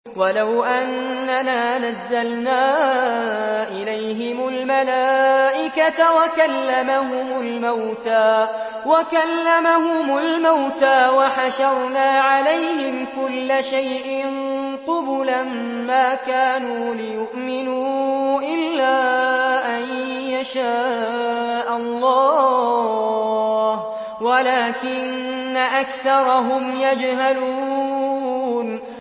۞ وَلَوْ أَنَّنَا نَزَّلْنَا إِلَيْهِمُ الْمَلَائِكَةَ وَكَلَّمَهُمُ الْمَوْتَىٰ وَحَشَرْنَا عَلَيْهِمْ كُلَّ شَيْءٍ قُبُلًا مَّا كَانُوا لِيُؤْمِنُوا إِلَّا أَن يَشَاءَ اللَّهُ وَلَٰكِنَّ أَكْثَرَهُمْ يَجْهَلُونَ